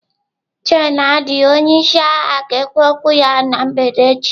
Gen Adi onye isi agha ga-ekwu okwu ya na mgbede echi.